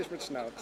Eva Schmid